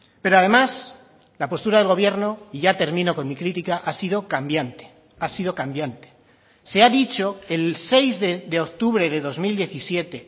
pero además la postura del gobierno y ya termino con mi critica ha sido cambiante ha sido cambiante se ha dicho el seis de octubre de dos mil diecisiete